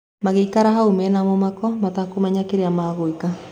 Magĩikara hau mena mũmako mĩtakũmenya kĩria magwĩka.